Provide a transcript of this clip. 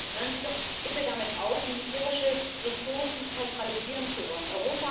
Hören Sie doch bitte damit auf, militärische Ressourcen zentralisieren zu wollen.